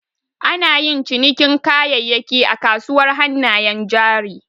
Anayin cinikin kayayyaki a kasuwar hannayen jari.